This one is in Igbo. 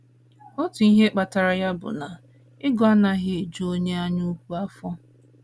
Otu ihe kpatara ya bụ na ego anaghị eju onye anyaukwu afọ.